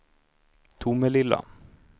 Tomelilla